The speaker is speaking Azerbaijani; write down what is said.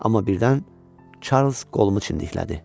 Amma birdən Çarlz qolumu çindiklərdi.